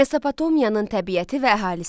Mesopotomiyanın təbiəti və əhalisi.